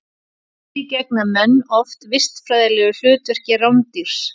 Því gegna menn oft vistfræðilegu hlutverki rándýrs.